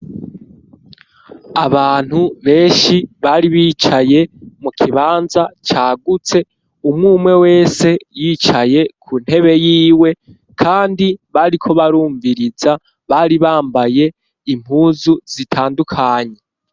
Abantu benshi ,bari bicaye mu kibanza cagutse, umwumwe wese yicaye ku ntebe y'iwe, kandi bariko barumviriza bari bambaye impuzu zitandukanye.